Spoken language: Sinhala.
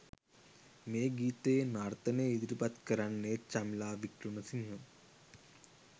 මේ ගීතයේ නර්තනය ඉදිරිපත් කරන්නෙ චමිලා වික්‍රමසිංහ